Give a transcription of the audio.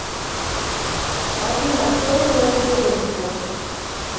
афина кто живет в регенсбург